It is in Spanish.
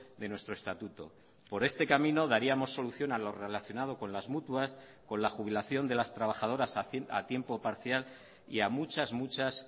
de nuestro estatuto por este camino daríamos solución a lo relacionado con las mutuas con la jubilación de las trabajadoras a tiempo parcial y a muchas muchas